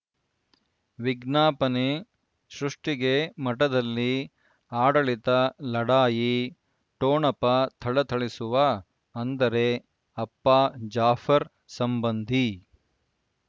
ವಿಜ್ಞಾಪನೆ ಸೃಷ್ಟಿಗೆ ಮಠದಲ್ಲಿ ಆಡಳಿತ ಲಢಾಯಿ ಠೊಣಪ ಥಳಥಳಿಸುವ ಅಂದರೆ ಅಪ್ಪ ಜಾಫರ್ ಸಂಬಂಧಿ